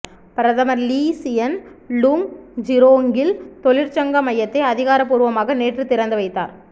பிரதமர் Lee Hsien Loong ஜூரோங்கில் தொழிற்சங்க மையத்தை அதிகார பூர்வமாக நேற்றுத் திறந்து வைத்தார்